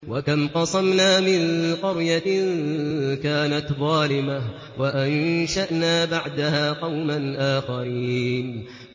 وَكَمْ قَصَمْنَا مِن قَرْيَةٍ كَانَتْ ظَالِمَةً وَأَنشَأْنَا بَعْدَهَا قَوْمًا آخَرِينَ